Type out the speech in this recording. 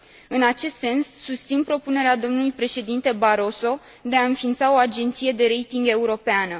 În acest sens, susțin propunerea domnului președinte Barroso de a înființa o agenție de rating europeană.